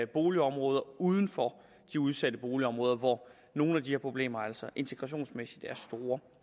boligområder uden for de udsatte boligområder hvor nogle af de her problemer altså integrationsmæssigt er store